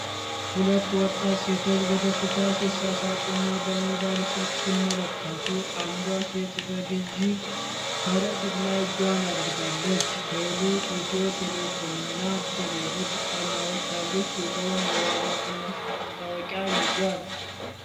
ሁለት ወጣት ሴቶች በደስታ ሲሳሳቁና በሞባይል ስልክ ሲመለከቱ። አንዷ ሴት በግዢ ከረጢት ላይ እጇን አድርጋለች። ሥዕሉ "ኢትዮ ቴሌኮም" እና "ቴሌብር" አርማዎች ያሉት ሲሆን የዋጋ ቅናሽ ማስታወቂያ ይዟል።